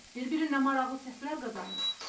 Bir-birindən maraqlı səslər qazandı.